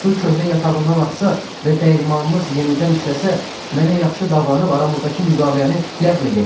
Su köhnə yatağından axsa və dəyirmanınız yenidən işləsə, mənə yaxşı davranıb aramızdakı müqaviləni ləğv eləyəcəksiz.